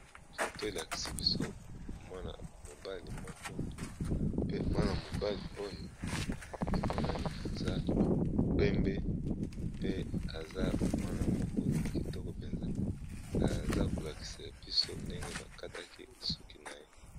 Photo elakisibiso mwana mobali moko pe mwana mobali oya amonani aza pembe pe aza mwana moko kitokopenza azakolakisabiso ndenge bakatiye suku naye